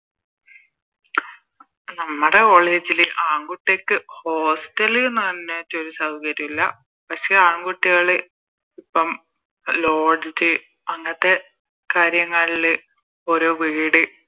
നമ്മടെ College ല് ആൺകുട്ടിയക്ക് Hostel ല് ന്ന് പറഞ്ഞിറ്റൊരൂ സൗകര്യം ഇല്ല പക്ഷെ ആൺകുട്ടികള് ഇപ്പം Lodge അങ്ങത്തെ കാര്യങ്ങളില് ഓരോ വീട്